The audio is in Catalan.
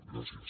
gràcies